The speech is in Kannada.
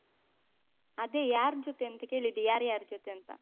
ಅದೇ ಯಾರ್ ಜೊತೆ ಅಂತ ಕೇಳಿದ್ದು ಯಾರ್ಯಾರ ಜೊತೆ ಅಂತ?